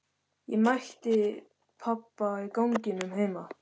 Ég mætti pabba í ganginum heima.